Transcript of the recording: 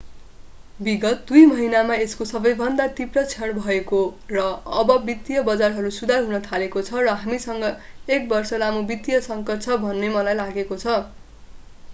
विगत दुई महिनामा यसको सबैभन्दा तीव्र क्षण भएको र अब वित्तीय बजारहरू सुधार हुन थालेको छ र हामीसँग एक बर्ष लामो वित्तीय सङ्कट छ भन्ने मलाई लागेको छ